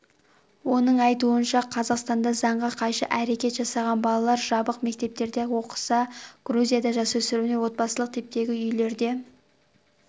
оның айтуынша қазақстанда заңға қайшы әрекет жасаған балалар жабық мектептерде оқыса грузияда жасөспірімдер отбасылық типтегі үйлерде